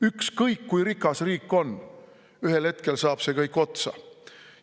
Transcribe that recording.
Ükskõik kui rikas riik on, ühel hetkel saab see kõik otsa.